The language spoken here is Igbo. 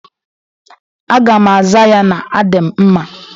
Aga m aza ya n'a dị m mma.